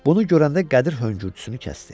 Bunu görəndə Qədir höngürtüsünü kəsdi.